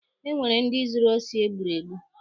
Enwere ndị zuru osi e gburu egbu.